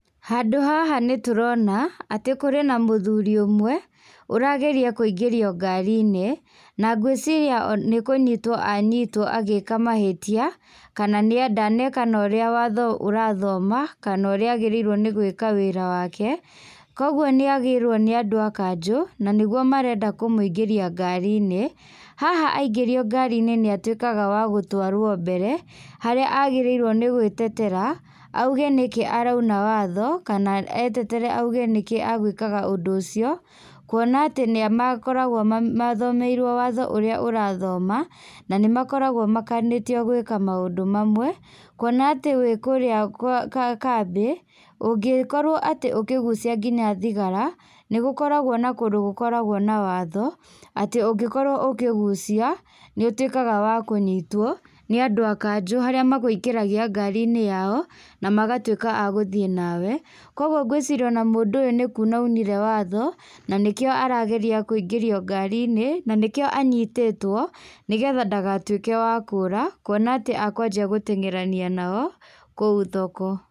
Handũ haha nĩtũrona, atĩ kũrĩ na mũthuri ũmwe, ũrageria kũingĩrio ngari-inĩ, na ngwĩciiria on nĩkũnyitwo anyitwo agĩka mahĩtia, kana nĩa ndaneka ũrĩa watho ũrathoma, kana ũrĩa agĩrĩirwo nĩ gwĩka wĩra wake, koguo nĩagĩrwo nĩ andũ a kanjũ, nanĩguo marenda kũmũingĩria ngari-inĩ. Haha aingĩrio ngar-inĩ nĩatwĩkaga wa gũtwarwo mbere, harĩa agĩrĩirwo nĩ gwĩtetera, auge nĩkĩĩ arauna watho, kana etetere auge nĩkĩĩ agwĩkaga ũndũ ũcio, kuona atĩ nĩa makoragwo ma mathomeirwo watho ũrĩa ũrathoma, na nĩmakoragwo makanĩtio gwĩka maũndũ mamwe, kuona atĩ wĩ kũrĩa kwĩ kambĩ, ũngĩkorwo atĩ ũkĩgucia nginya thigara, nĩgũkoragwo na kũndũ gũkoragwo na watho, atĩ ũngĩkorwo ũkĩgucia, nĩũtwĩkaga wa kũnyitwo, nĩ andũ a kanjũ harĩa makũingagĩria ngari-inĩ yao, na magatwĩka a gũthiĩ nawe, koguo ngwĩciria ona mũndũ ũyũ nĩkuna aunire watho, naníkĩo arageria kũingĩrio ngari-inĩ, na nĩkĩo anyitĩtwo nĩgetha ndagatwĩke wa kũra, kuona atĩ akwanjia gũteng'erania nao, kũu thoko.